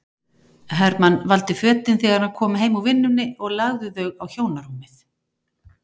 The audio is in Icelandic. Hermann valdi fötin þegar hann kom heim úr vinnunni og lagði þau á hjónarúmið.